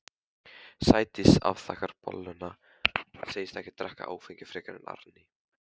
Sædís afþakkar bolluna, segist ekki drekka áfengi frekar en Árný.